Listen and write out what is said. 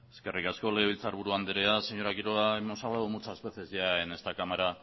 eskerrik asko legebiltzar buru andrea señora quiroga hemos hablado muchas veces ya en esta cámara